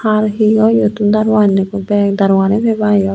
har he oi iyottun daru annogoi bek daru gani peba iyot.